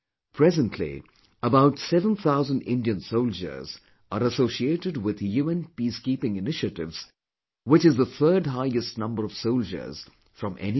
Presently, about seven thousand Indian soldiers are associated with UN Peacekeeping initiatives which is the third highest number of soldiers from any country